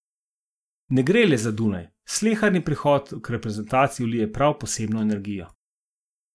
Ne gre le za Dunaj, sleherni prihod k reprezentanci vlije prav posebno energijo.